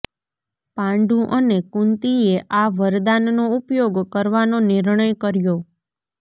પાંડુ અને કુંતીએ આ વરદાનનો ઉપયોગ કરવાનો નિર્ણય કર્યો